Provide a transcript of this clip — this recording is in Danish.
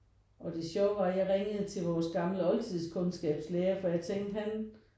Og det sjove var jeg ringede til vores gamle oldtidskundskabslærer for jeg tænkte han